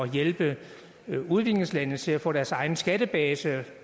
hjælpe udviklingslandene til at få deres egen skattebase og